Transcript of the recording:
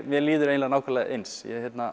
mér líður eiginlega nákvæmlega eins